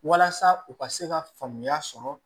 Walasa u ka se ka faamuya sɔrɔ